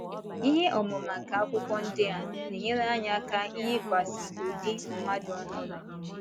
Ihe ọmụma nke akwụkwọ ndi a na - enyere anyị aka iyikwasị ụdị mmadụ ọhụrụ. ’